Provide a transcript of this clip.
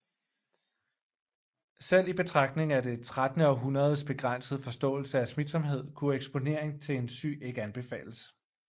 Selv i betragtning af det trettende århundredes begrænsede forståelse af smitsomhed kunne eksponering til en syg ikke anbefales